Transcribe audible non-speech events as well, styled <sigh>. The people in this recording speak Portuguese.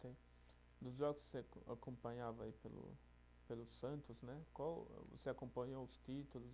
<unintelligible> Dos jogos que você acompanhava aí pelo pelo Santos né, qual o, você acompanhou os títulos